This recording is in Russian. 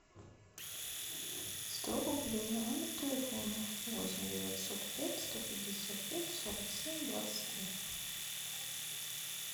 сто рублей на номер телефона восемь девятьсот пять сто пятьдесят пять сорок семь двадцать три